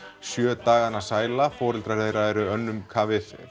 sjö dagana sæla foreldrar þeirra eru önnum kafið